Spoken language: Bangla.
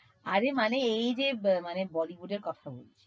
আরে মানে এইযে মানে body বুঝে কথা বলছি।